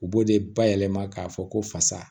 U b'o de bayɛlɛma k'a fɔ ko fasa